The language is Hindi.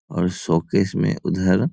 और शोकेस में उधर --